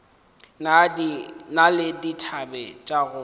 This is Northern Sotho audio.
na le dithabe tša go